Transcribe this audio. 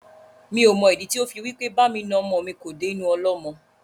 Mi ò mọ ìdí tí ó fi wí pé bá mi na ọmọ mi kò dé inú ọlọ́mọ.